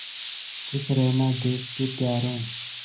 खुश रहना देश के प्यारों